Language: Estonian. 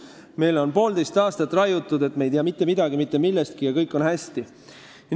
Meile on poolteist aastat raiutud, et me ei tea mitte midagi mitte millestki ja kõik on hästi.